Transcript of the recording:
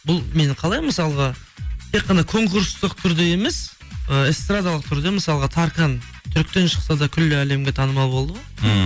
бұл мені қалай мысалға тек қана конкурстық түрде емес і эстрадалық түрде мысалға таркан түріктен шықса да күллі әлемге танымал болды ғой ммм